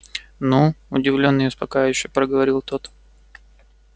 ну удивлённо и успокаивающе проговорил тот